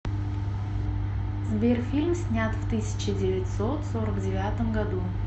сбер фильм снят в тысяча девятьсот сорок девятом году